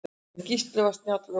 En Gísli var snjall ökumaður.